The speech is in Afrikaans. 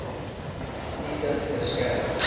u kind beskerm